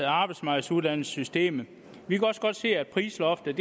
arbejdsmarkedsuddannelsessystemet vi kan også godt se at prisloftet